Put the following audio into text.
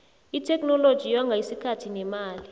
itheknoloji yonga isikhathi nemali